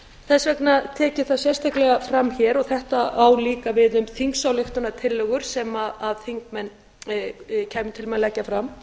þess vegna tek ég það sérstaklega fram hér og þetta á líka við um þingsályktunartillögu sem þingmenn kæmu til með að leggja fram